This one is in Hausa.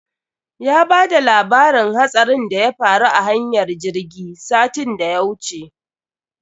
Ya bada labarin hatsarin da ya faru a hanyar jirgi satin da ya wuce.